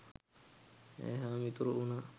ඈ හා මිතුරු වුණා.